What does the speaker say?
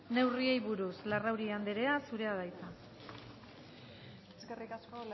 neurriei buruz larrauri anderea zurea da hitza eskerrik asko